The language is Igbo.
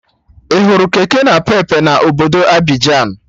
Ị hụrụ kekenapepe na obodo Abịjan?